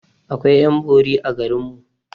Akwai ƴan bori a garinmu